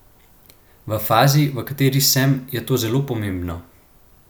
V fazi, v kateri sm, je to zelo pomembno.